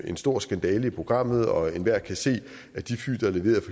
en stor skandale i programmet og enhver kan se at de fly der er leveret